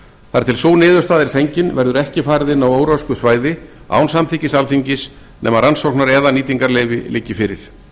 þar til sú niðurstaða er fengin verður ekki farið inn á óröskuð svæði án samþykkis alþingis nema að rannsóknar eða nýtingarleyfi liggi fyrir nokkur